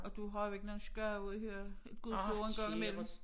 Og du har jo ikke nogen skade af at høre Guds ord en gang i mellem